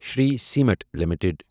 Shri cement limited